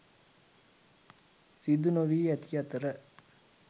සිදු නොවී ඇති අතර